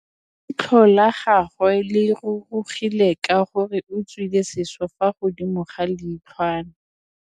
Leitlhô la gagwe le rurugile ka gore o tswile sisô fa godimo ga leitlhwana.